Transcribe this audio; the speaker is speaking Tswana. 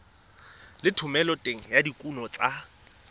le thomeloteng ya dikuno tsa